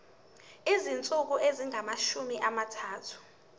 izinsuku ezingamashumi amathathu